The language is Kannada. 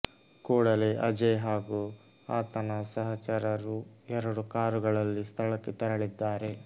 ಕೂಡಲೇ ಅಜಯ್ ಹಾಗೂ ಆತನ ಸಹಚರರು ಎರಡು ಕಾರುಗಳಲ್ಲಿ ಸ್ಥಳಕ್ಕೆ ತೆರಳಿದ್ದಾರೆ